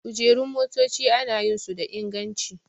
Kujerun motaci ana yin su da inganci